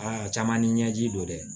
Aa caman ni ɲɛji don dɛ